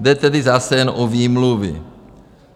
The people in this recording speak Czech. Jde tedy zase jen o výmluvy.